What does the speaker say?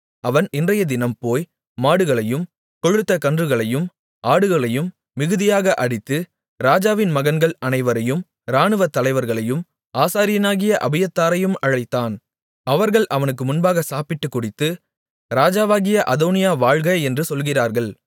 அவன் இன்றையதினம் போய் மாடுகளையும் கொழுத்த கன்றுகளையும் ஆடுகளையும் மிகுதியாக அடித்து ராஜாவின் மகன்கள் அனைவரையும் இராணுவத்தலைவர்களையும் ஆசாரியனாகிய அபியத்தாரையும் அழைத்தான் அவர்கள் அவனுக்கு முன்பாக சாப்பிட்டுக் குடித்து ராஜாவாகிய அதோனியா வாழ்க என்று சொல்லுகிறார்கள்